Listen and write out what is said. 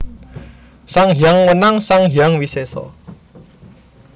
Sang Hyang Wenang Sang Hyang Wisesa